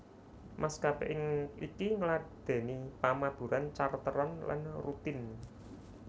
Maskapé iki ngladèni pamaburan charteran lan rutin